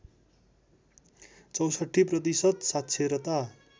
६४ प्रतिशत साक्षरता